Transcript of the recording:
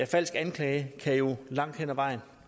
falsk anklage kan jo langt hen af vejen